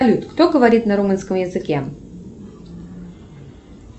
кто говорит на румынском языке